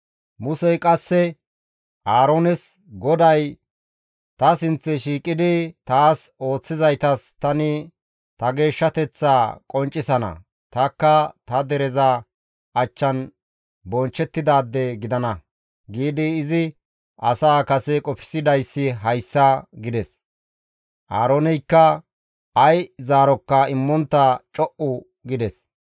Musey qasse Aaroones, «GODAY, ‹Ta sinththe shiiqidi taas ooththizaytas tani ta geeshshateththaa qonccisana; tanikka ta dereza achchan bonchchettidaade gidana› giidi izi asaa kase qofsidayssi hayssa» gides. Aarooneykka ay zaarokka immontta co7u gides.